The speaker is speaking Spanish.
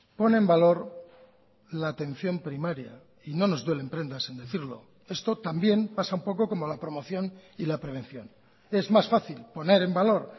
pone en valor la atención primaria y no nos duelen prendas en decirlo esto también pasa un poco como la promoción y la prevención es más fácil poner en valor